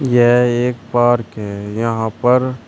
यह एक पार्क है यहां पर--